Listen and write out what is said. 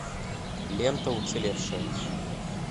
лента уцелевшая